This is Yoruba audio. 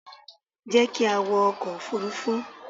Jẹ́ ki a wọ ọkò òfurufú